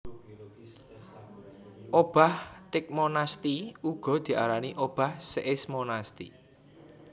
Obah tigmonasti uga diarani obah seismonasti